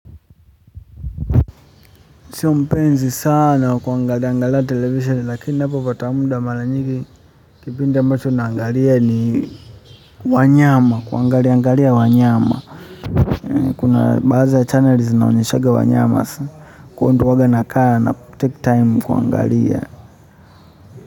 Sio mpenzi saana kwa kuangalia angalia television lakini ninapo pata mda maranyingi kipindi ambacho naangalia ni wanyama, kuna baadhi za chanel zinaonyeshanga wanyama huko ndo uwanga na kaa na take time kuangalia.